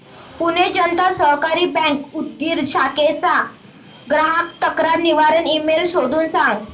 Pune Janata Sahakari bank Udgir शाखेचा ग्राहक तक्रार निवारण ईमेल शोधून सांग